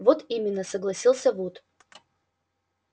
вот именно согласился вуд